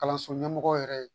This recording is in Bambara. Kalanso ɲɛmɔgɔw yɛrɛ ye